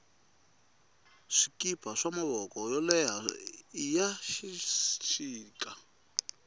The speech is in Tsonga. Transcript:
swikipa swa mavoko yo leha iya xixita